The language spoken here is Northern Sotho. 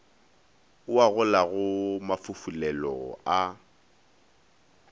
o a golagola mafufulelo a